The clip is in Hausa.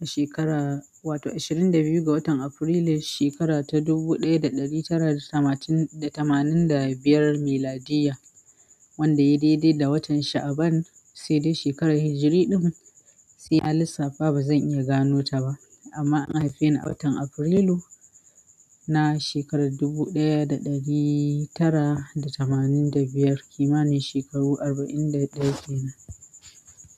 Shekara wato ashirin da biyu ga watan Afrilu, shekara ta dubu ɗaya da ɗari tara da tamanin da tamanin da biyar miladiyya wanda ya daidaita da watan Sha'aban sai dai shekarar hijri ɗin sai a lissafa ba zan iya gano ta ba amma an haife ni a watan Afrilu na shekarar dubu ɗaya da ɗari tara da tamanin da biyar, kimanin shekaru arba'in da ɗaya kenan.